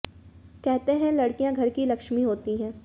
कहते हैं कि लड़कियां घर की लक्ष्मी होती है